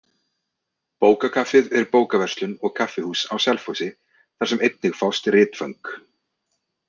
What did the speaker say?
Bókakaffið er bókaverslun og kaffihús á Selfossi þar sem einnig fást ritföng.